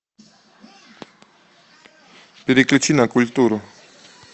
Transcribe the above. переключи на культуру